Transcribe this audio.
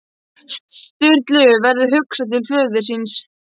Sturlu verður hugsað til föður síns.